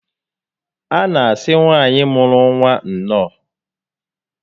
A na asị nwaanyị mụrụ nwa nnọọ